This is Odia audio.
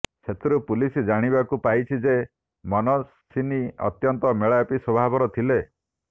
ସେଥିରୁ ପୁଲିସ ଜାଣିବାକୁ ପାଇଛି ଯେ ମନସ୍ୱିନୀ ଅତ୍ୟନ୍ତ ମେଳାପି ସ୍ୱଭାବର ଥିଲେ